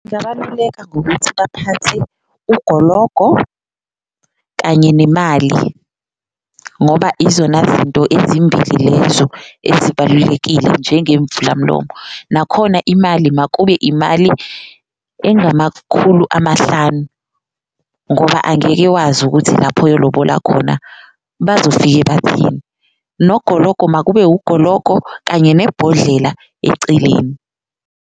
Ngabaluleka ngokuthi baphathe ugologo kanye nemali ngoba izona zinto ezimbili lezo ezibalulekile njengemvulamlomo, nakhona imali makube imali engamakhulu amahlanu ngoba angeke wazi ukuthi lapho oyolobola khona bazofike bathini, nogologo makube ugologo kanye nebhodlela eceleni.